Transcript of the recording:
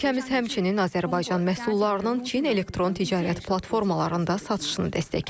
Ölkəmiz həmçinin Azərbaycan məhsullarının Çin elektron ticarət platformalarında satışını dəstəkləyir.